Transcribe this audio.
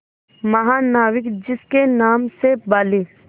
महानाविक जिसके नाम से बाली